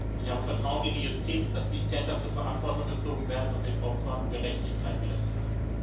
Ich habe Vertrauen in die Justiz, dass die Täter zur Verantwortung gezogen werden und den Opfern Gerechtigkeit widerfährt.